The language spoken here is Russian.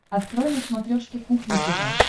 открой на смотрешке кухня тв